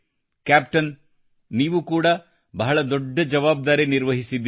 captain ನೀವು ಕೂಡ ಬಹಳ ದೊಡ್ಡ ಜವಾಬ್ದಾರಿ ನಿರ್ವಹಿಸಿದ್ದೀರಿ